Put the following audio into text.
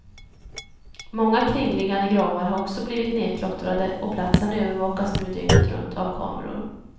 Många kringliggande gravar har också blivit nedklottrade och platsen övervakas nu dygnet runt av kameror.